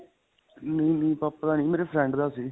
ਨਹੀਂ, ਨਹੀਂ. ਪਾਪਾ ਦਾ ਨਹੀਂ ਮੇਰੇ friend ਦਾ ਸੀ.